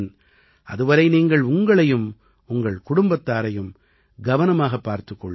அதுவரை நீங்கள் உங்களையும் உங்கள் குடும்பத்தாரையும் கவனமாகப் பார்த்துக் கொள்ளுங்கள்